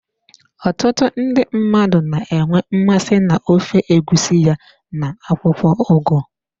Ọtụtụ ndị mmadụ na-enwe mmasị na ofe egusi ya na akwụkwọ ugu.